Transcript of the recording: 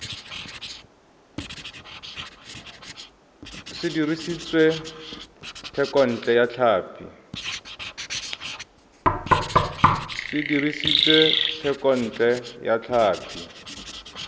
se dirisitswe thekontle ya tlhapi